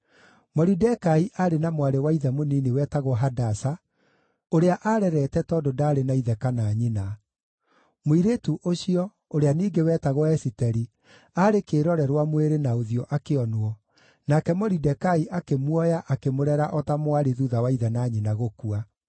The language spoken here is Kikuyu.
Moridekai aarĩ na mwarĩ wa ithe mũnini wetagwo Hadasa, ũrĩa aarerete tondũ ndaarĩ na ithe kana nyina. Mũirĩtu ũcio, ũrĩa ningĩ wetagwo Esiteri, aarĩ kĩĩrorerwa mwĩrĩ na ũthiũ akĩonwo, nake Moridekai akĩmuoya akĩmũrera o ta mwarĩ thuutha wa ithe na nyina gũkua.